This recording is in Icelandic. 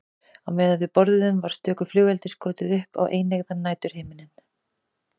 Á meðan við borðuðum var stöku flugeldi skotið upp á eineygðan næturhimininn.